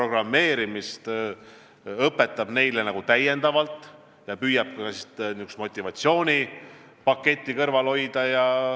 Ta õpetab neile täiendavalt programmeerimist ja püüab ka motivatsioonipaketti seal kõrval hoida.